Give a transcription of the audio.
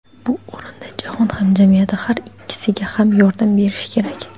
Bu o‘rinda jahon hamjamiyati har ikkisiga ham yordam berishi kerak.